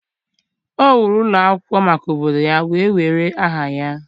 O wuru ụlọ akwụkwọ maka obodo ya, wee were aha ya.